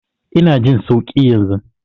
Ina jin sauƙi yanzu.